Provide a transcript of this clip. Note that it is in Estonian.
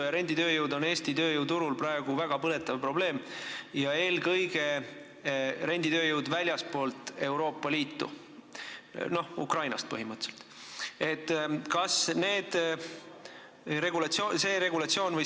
See on Eesti tööjõuturul praegu väga põletav probleem, eelkõige renditööjõud väljastpoolt Euroopa Liitu, põhimõtteliselt eelkõige Ukrainast.